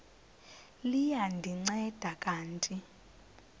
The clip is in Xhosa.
liya ndinceda kanti